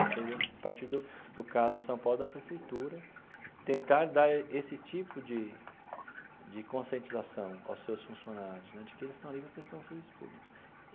Isso deveria partir do do caso de São Paulo da Prefeitura, tentar dar esse tipo de de conscientização aos seus funcionários né, de que eles estão ali para prestar um serviço público.